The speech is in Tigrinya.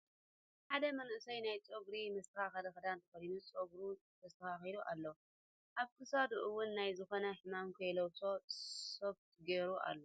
ሓደ ምንእሰይ ናይ ፀጉሪ መሰተካከሊ ክዳን ተከዲኑ ፀግሩ ተስተካኪሉ ኣሎ ። ኣብ ኪሳዱ እዉን ናይ ዝኮነ ሕማም ከይላቦሶ ሶፍት ገይሩ ኣሎ